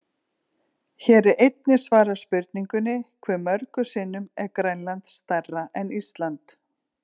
Hér er einnig svarað spurningunni: Hve mörgum sinnum er Grænland stærra en Ísland?